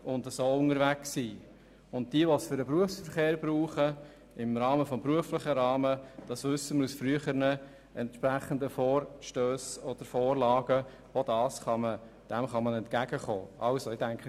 Aus früheren ähnlichen Vorstössen oder Vorlagen wissen wir, dass man denjenigen entgegenkommen kann, die das Auto für den Berufsverkehr brauchen.